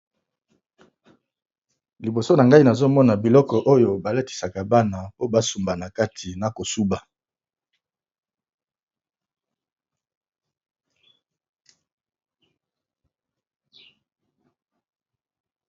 Liboso na ngai nazomona biloko oyo balatisaka bana po basumbana kati na kosuba.